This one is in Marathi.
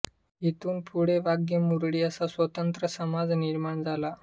हीतून पुढे वाघ्यामुरळी असा स्वतंत्र समाज निर्माण झाला